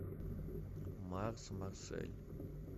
марс марсель